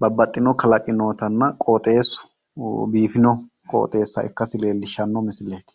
babbaxitino kalaqi noottanna qooxeesu biifino qooxeessa ikkasi leellishshanno misilleeti.